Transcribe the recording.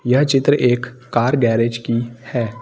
यह चित्र एक कार गैरेज की है।